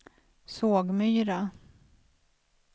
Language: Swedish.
Sågmyra